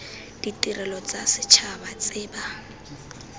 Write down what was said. ditirelo tsa setšhaba tse ba